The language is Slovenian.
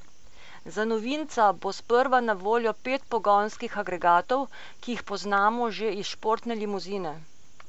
Za novinca bo sprva na voljo pet pogonskih agregatov, ki jih poznamo že iz športne limuzine.